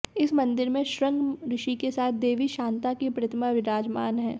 इस मंदिर में शृंग ऋषि के साथ देवी शांता की प्रतिमा विराजमान है